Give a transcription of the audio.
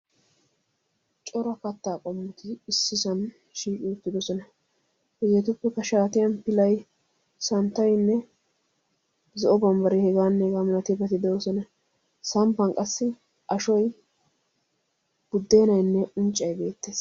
Cora katta qommori issisan shiiqi uttidoosona. Hegetuppekka shaatiyan lilay, santtaynne zo'o bambbare heganne hega malatiyaabati de'oosona. Samppan qassi ashshoy budenaynne unccay beettees.